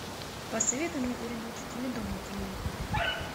посоветуй мне передачу теледом на телевизоре